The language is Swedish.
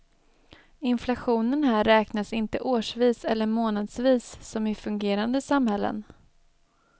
Inflationen här räknas inte årsvis eller månadsvis som i fungerande samhällen.